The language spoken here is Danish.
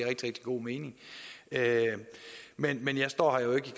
rigtig god mening men men jeg står her jo ikke